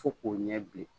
Fo k'o ɲɛ bilen